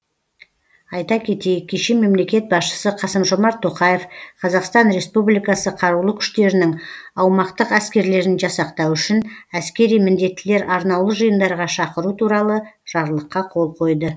айта кетейік кеше мемлекет басшысы қасым жомарт тоқаев қазақстан республикасы қарулы күштерінің аумақтық әскерлерін жасақтау үшін әскери міндеттілер арнаулы жиындарға шақыру туралы жарлыққа қол қойды